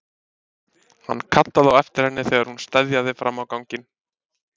Hann kallaði á eftir henni þegar hún steðjaði fram á ganginn.